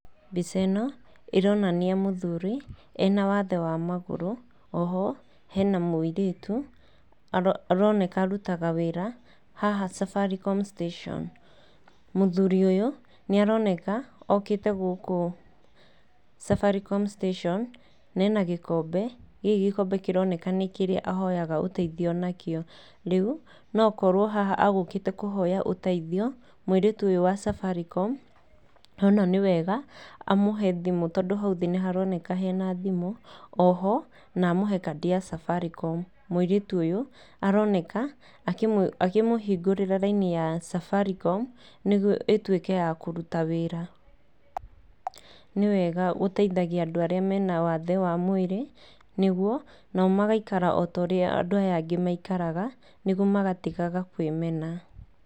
Mbica ĩno, ĩronania mũthuri ena wathe wa magũrũ, oho hena mũirĩtu aroneka arutaga wĩra haha Safaricom station. Mũthuri ũyũ nĩ aroneka okĩte gũkũ Safaricom station na ena gĩkombe. Gĩkĩ gĩkombe kĩroneka nĩkĩria ahoyaga ũteithio nakĩo. Rĩu, no akorwo haha egũkĩte kũhoya ũteithio, mũirĩtu ũyũ wa Safaricom ona nĩ wega amũhe thimũ tondũ hau thĩ nĩ haroneka hena thimũ, o ho na mũhe kandi ya Safaricom. Mũirĩtu ũyũ aroneka akĩmũhingũrĩra raini ya Safaricom nĩguo ĩtwĩke ya kũruta wĩra. Nĩ wega gũteithagia andũ arĩa mena wathe wa mwĩrĩ nĩguo onao magaikara ota ũrĩa andũ aya angĩ maikaraga nĩ guo magatigaga kwĩmena.